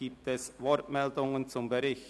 Gibt es Wortmeldungen zum Bericht?